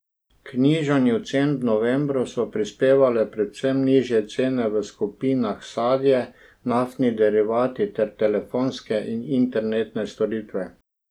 K znižanju cen v novembru so prispevale predvsem nižje cene v skupinah sadje, naftni derivati ter telefonske in internetne storitve.